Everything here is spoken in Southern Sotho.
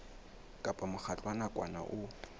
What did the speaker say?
kapa mokgatlo wa nakwana o